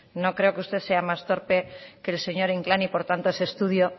no creo que usted sea más torpe que el señor inclán por tanto ese estudio